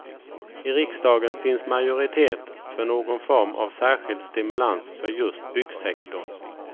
I riksdagen finns majoritet för någon form av särskild stimulans för just byggsektorn.